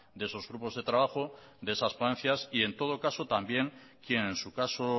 de esos grupos de trabajo de esas ponencia y en todo caso también quien en su caso